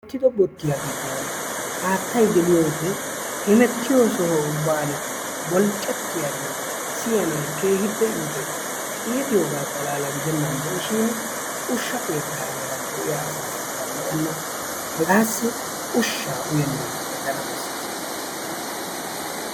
Wottido bottiya giddon haattay geliyoode hemettiyo soho ubban bolccatiyaagee siyyanaw keehippe iites, iitiyooga xalaala gidennan de'ishin ushsha keettaa heeran de'iyaa asassikka lo''ena. Hegassi ushsha uyennan aggana bessees.